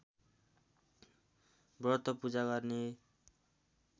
व्रत पूजा गर्ने